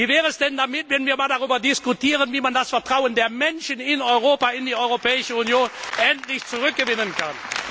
Wie wäre es denn, wenn wir darüber diskutieren, wie man das Vertrauen der Menschen in Europa in die Europäische Union endlich zurückgewinnen kann?